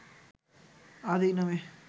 ‘আদি’ নামে